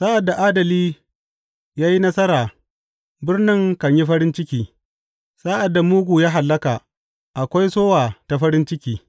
Sa’ad da adali ya yi nasara, birnin kan yi farin ciki; sa’ad da mugu ya hallaka, akwai sowa ta farin ciki.